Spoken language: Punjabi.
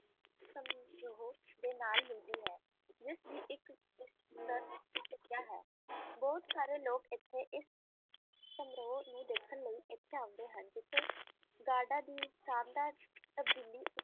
ਬੋਹਤ ਸਾਰੇ ਲੋਕ ਇਸ ਨੂੰ ਵੇਖਣ ਅੰਡੇ ਹੈਂ ਇਥੇ ਸ਼ਾਮ ਨੂੰ ਗੁਰਦਾਂ ਦੀ ਤਬਦੀਲੀ